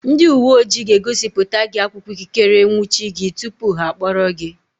Ndị uwe ojii ga-egosipụta gị akwụkwọ ikikere ịnwụchi gị tupu ha akpọrọ gị.